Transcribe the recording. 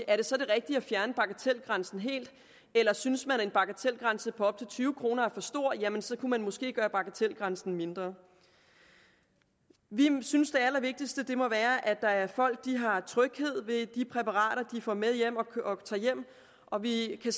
er det så det rigtige at fjerne bagatelgrænsen helt eller synes man en bagatelgrænse på op til tyve kroner er for stor jamen så kunne man måske gøre bagatelgrænsen mindre vi synes det allervigtigste må være at folk har tryghed ved de præparater de får med hjem og vi kan